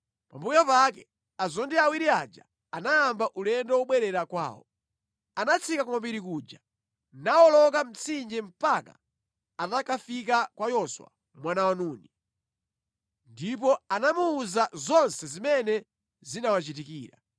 Pambuyo pake azondi awiri aja anayamba ulendo wobwerera kwawo. Anatsika ku mapiri kuja, nawoloka mtsinje mpaka anakafika kwa Yoswa mwana wa Nuni. Ndipo anamuwuza zonse zimene zinawachitikira.